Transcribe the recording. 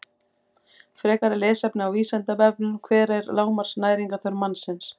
Frekara lesefni á Vísindavefnum: Hver er lágmarks næringarþörf mannsins?